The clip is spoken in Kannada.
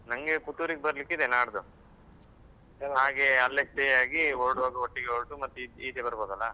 ನನ್ಗೆ ಪುತ್ತೂರಿಗೆ ಬರ್ಲಿಕ್ಕೆ ಇದೆ ನಾಡ್ದು ಹಾಗೆ ಅಲ್ಲೇ stay ಆಗಿ ಹೊರಡುವಾಗ ಒಟ್ಟಿಗೆ ಹೊರಟು ಮತ್ತೆ ಈಚೆ ಬರ್ಬೋದಲ್ಲ.